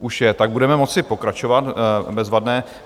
Už je, tak budeme moci pokračovat, bezvadné.